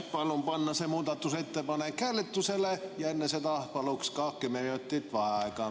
Palun panna see muudatusettepanek hääletusele ja enne seda palun ka kümme minutit vaheaega!